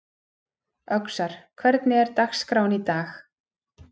Öxar, hvernig er dagskráin í dag?